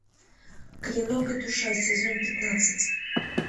клинок и душа сезон пятнадцать